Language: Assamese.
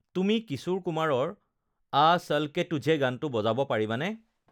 তুমি কিশোৰ কুমাৰৰ আ চল কে তুঝে গানটো বজাব পাৰিবানে